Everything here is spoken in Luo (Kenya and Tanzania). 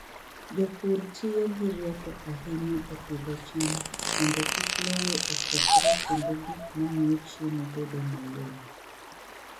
Jopur tiyo gi rieko ahinya e pidho cham mondo kik lowo okethre kendo gik mamiyo chiemo bedo mayom.